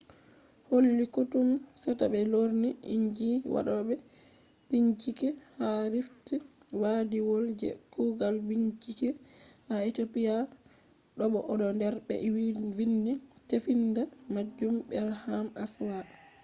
holli koɗume seta ɓe lorni inji waɗoɓe bincike ha rift waadiwol je kugal bincike ha ethiopia bo o do der be vindi tefinda majum berhane asfaw